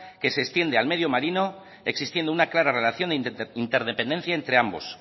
que se extiende al medio marino existiendo una clara relación interdependiente entre ambos